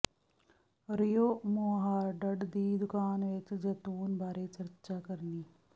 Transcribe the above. ਰਿਊ Mouffetard ਦੀ ਦੁਕਾਨ ਵਿਚ ਜੈਤੂਨ ਬਾਰੇ ਚਰਚਾ ਕਰਨੀ